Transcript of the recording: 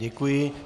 Děkuji.